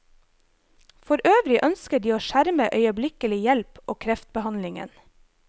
For øvrig ønsker de å skjerme øyeblikkelig hjelp og kreftbehandlingen.